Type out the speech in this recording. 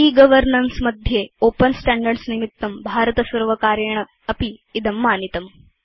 e governance मध्ये open standards निमित्तं भारतसर्वकारेणापि इदं मानितम्